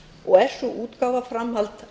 og er sú útgáfa framhald